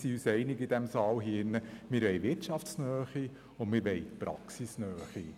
Wir sind uns in diesem Saal darin einig, dass wir Wirtschafts- und Praxisnähe haben wollen.